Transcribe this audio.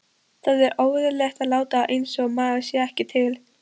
Það er óeðlilegt að láta einsog maður sé ekki til.